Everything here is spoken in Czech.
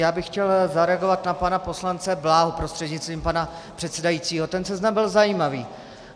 Já bych chtěl zareagovat na pana poslance Bláhu prostřednictvím pana předsedajícího, ten seznam byl zajímavý.